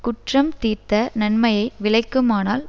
குற்றம் தீர்த்த நன்மையை விளைக்குமானால்